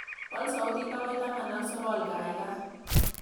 Waal sautit agoi taman ak sogol gaigai